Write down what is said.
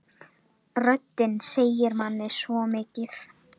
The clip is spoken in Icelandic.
Röddin segir manni svo mikið.